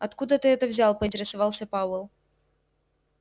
откуда ты это взял поинтересовался пауэлл